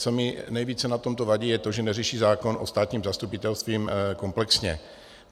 Co mi nejvíce na tomto vadí, je to, že neřeší zákon o státním zastupitelství komplexně.